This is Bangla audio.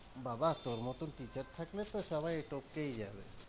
বাবা তোর মতন teacher থাকলে তো সবাই টোপকেই যাবে।